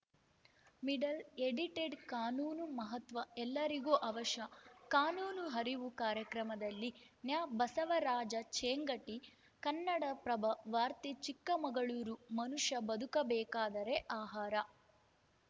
middle edited ಕಾನೂನು ಮಹತ್ವ ಎಲ್ಲರಿಗೂ ಅವಶ್ಯ ಕಾನೂನು ಅರಿವು ಕಾರ್ಯಕ್ರಮದಲ್ಲಿ ನ್ಯಾಬಸವರಾಜ ಚೇಂಗಟಿ ಕನ್ನಡಪ್ರಭ ವಾರ್ತೆ ಚಿಕ್ಕಮಗಳೂರು ಮನುಷ್ಯ ಬದುಕಬೇಕಾದರೆ ಆಹಾರ